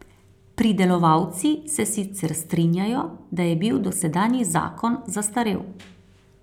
Pridelovalci se sicer strinjajo, da je bil dosedanji zakon zastarel.